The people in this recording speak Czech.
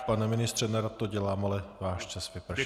Pane ministře, nerad to dělám, ale váš čas vypršel.